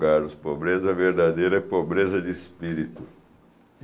Carlos, pobreza verdadeira é pobreza de espírito.